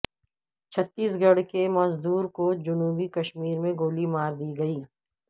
چھتیس گڑھ کے مزدور کو جنوبی کشمیر میں گولی ماردی گئی